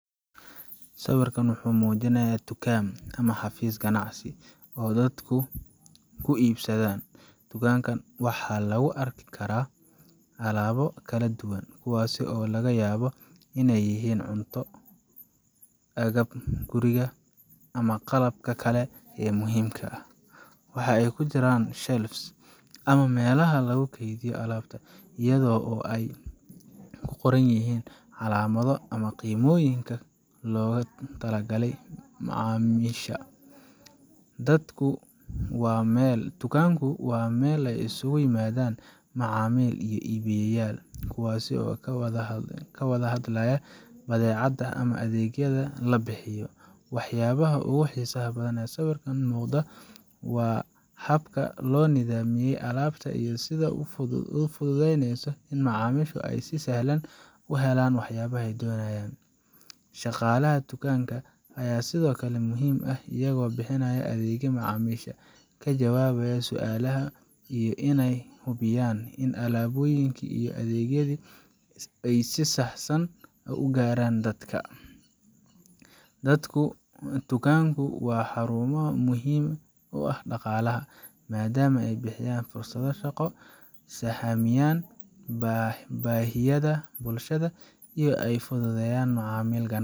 Sawirka waxa uu muujinayaa dukaam ama xafiis ganacsi oo dadku wax ku iibsadaan. Dukaankan waxaa lagu arki karaa alaabo kala duwan, kuwaasoo laga yaabo inay yihiin cunto, agabka guriga, ama qalabka kale ee muhiimka ah. Waxa ay ku jiraan shelves ama meelaha lagu kaydiyo alaabta, iyada oo ay ku qoran yihiin calaamado ama qiimooyin loogu talagalay macaamiisha. Dukaanku waa meel ay isugu yimaadaan macaamiil iyo iibiyayaal, kuwaasoo ka wada hadlaya badeecada ama adeegyada la bixiyo. Waxyaabaha ugu xiisaha badan ee sawirka ka muuqda waa habka loo nidaamiyay alaabta iyo sida ay u fududeyneyso in macaamiisha ay si sahlan u helaan wax yaabaha ay doonayaan. Shaqaalaha dukaanka ayaa sidoo kale muhiim ah, iyagoo bixiya adeegga macaamiisha, ka jawaabaya su'aalaha, iyo inay hubiyaan in alaabooyinka iyo adeegyada ay si sax san ay ugaaraan dadka. Dukaamadu waa xarumo muhiim u ah dhaqaalaha, maadaama ay bixiyaan fursado shaqo, sahamiyaan baahiyaha bulshada, iyo inay fududeeyaan macaamilka ganacsi.